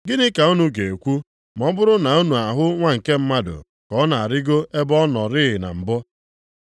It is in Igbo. Gịnị ka unu ga-ekwu ma ọ bụrụ na unu ahụ Nwa nke Mmadụ ka ọ na-arịgo ebe ọ nọrịị na mbụ.